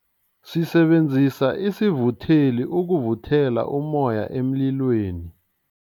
Sisebenzise isivutheli ukuvuthela ummoya emlilweni.